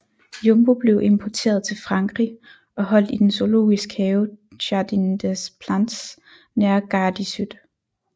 Jumbo blev importeret til Frankrig og holdt i den zoologisk have Jardin des Plantes nær Gare de Sud